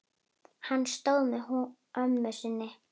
Hann stóð með ömmu sinni.